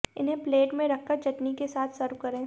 इन्हें प्लेट में रखकर चटनी के साथ सर्व करें